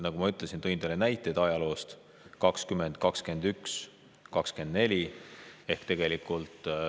Ma tõin teile näiteid ajaloost, aastaist 2020, 2021, 2024.